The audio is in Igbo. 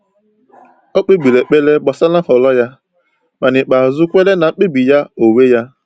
O kpebiri ekpere gbasara nhọrọ ya, ma n’ikpeazụ kweere na mkpebi ya onwe ya.